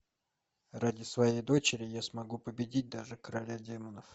ради своей дочери я смогу победить даже короля демонов